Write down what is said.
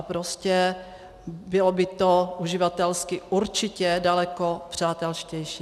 A prostě bylo by to uživatelsky určitě daleko přátelštější.